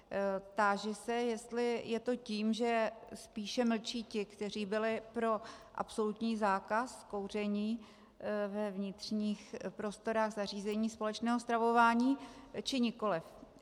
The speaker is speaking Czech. Táži se, jestli je to tím, že spíše mlčí ti, kteří byli pro absolutní zákaz kouření ve vnitřních prostorách zařízení společného stravování, či nikoliv.